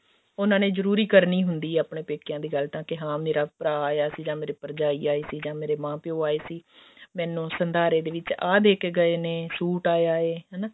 ਉਹਨਾ ਨੇ ਜਰੂਰੀ ਕਰਨੀ ਹੁੰਦੀ ਆ ਆਪਣੇ ਪੇਕਿਆਂ ਦੀ ਗੱਲ ਤਾਂ ਕੇ ਹਾਂ ਮੇਰਾ ਭਰਾ ਆਇਆ ਸੀ ਜਾਂ ਮੇਰੀ ਭਰਜਾਈ ਆਈ ਸੀ ਜਾਂ ਮੇਰੇ ਮਾਂ ਪਿਓ ਆਏ ਸੀ ਮੈਨੂੰ ਸੰਧਾਰੇ ਦੇ ਵਿੱਚ ਆਹ ਦੇਕੇ ਗਏ ਨੇ ਸੂਟ ਆਇਆ ਹੈ ਹਨਾ